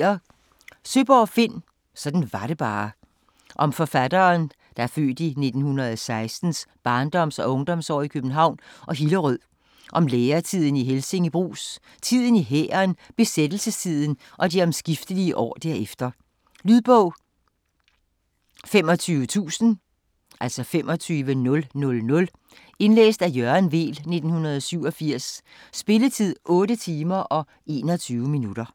Søeborg, Finn: Sådan var det bare Om forfatterens (f. 1916) barndoms- og ungdomsår i København og Hillerød, om læretiden i Helsinge Brugs, tiden i hæren, besættelsestiden og de omskiftelige år derefter. Lydbog 25000 Indlæst af Jørgen Weel, 1987. Spilletid: 8 timer, 21 minutter.